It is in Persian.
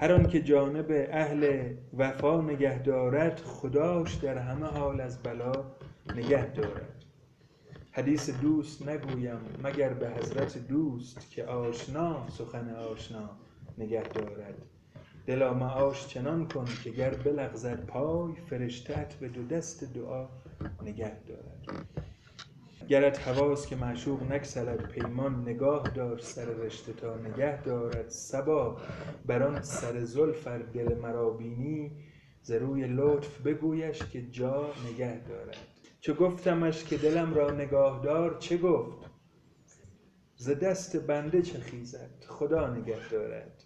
هر آن که جانب اهل خدا نگه دارد خداش در همه حال از بلا نگه دارد حدیث دوست نگویم مگر به حضرت دوست که آشنا سخن آشنا نگه دارد دلا معاش چنان کن که گر بلغزد پای فرشته ات به دو دست دعا نگه دارد گرت هواست که معشوق نگسلد پیمان نگاه دار سر رشته تا نگه دارد صبا بر آن سر زلف ار دل مرا بینی ز روی لطف بگویش که جا نگه دارد چو گفتمش که دلم را نگاه دار چه گفت ز دست بنده چه خیزد خدا نگه دارد